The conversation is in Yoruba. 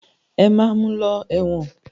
Ẹ máa mu lọ ẹ̀wọ̀n.